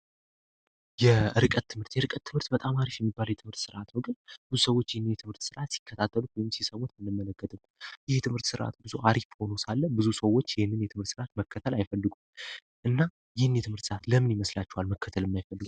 የርቀት ትምህርት የእርቀት ትምህርት በጣም አሪፍ የሚባለ የትምህርት ስርዓት ወገር ብዙ ሰዎች ይህን የትምህርት ስርዓት ሲከታተሉት ወይም ሲሰሙት እንመለገትም ይህ የትምህርት ሥርዓት ብዙ አሪፎኖሳለ ብዙ ሰዎች ይህንን የትምህርት ስርዓት መከተል አይፈልጉ እና ይህን የትምህርት ስዓት ለምን ይመስላቸዋል መከተል የማይፈልጉት?